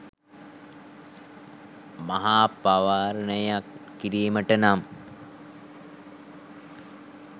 මහා පවාරණයක් කිරීමට නම්